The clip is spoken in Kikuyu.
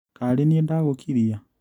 Karĩni ndagũkĩria?